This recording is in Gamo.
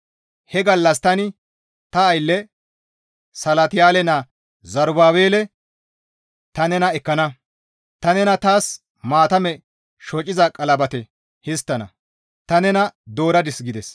He gallas tani ta aylle Salatiyaale naa Zerubaabele ta nena ekkana; ta nena taas maatame shociza qalabate histtana; ta nena dooradis» gides.